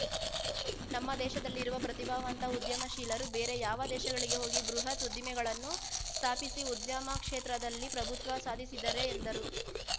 ನಮ್ಮ ದೇಶದಲ್ಲಿರುವ ಪ್ರತಿಭಾವಂತ ಉದ್ಯಮಶೀಲರು ಬೇರೆ ಯಾವ ದೇಶಗಳಿಗೆ ಹೋಗಿ ಬೃಹತ್‌ ಉದ್ದಿಮೆಗಳನ್ನು ಸ್ಥಾಪಿಸಿ ಉದ್ಯಮ ಕ್ಷೇತ್ರದಲ್ಲಿ ಪ್ರಭುತ್ವವ ಸಾಧಿಸಿದರೆ ಎಂದರು